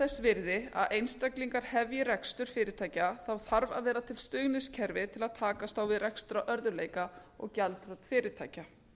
þess virði að einstaklingar hefji rekstur fyrirtækja þá þarf að vera til stuðningskerfi til að takast á við rekstrarörðugleika og gjaldþrot fyrirtækja